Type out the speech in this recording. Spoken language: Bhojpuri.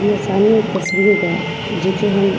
हमरे सामने एक तस्वीर बा जो की हम --